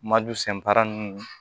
Madu senfara nun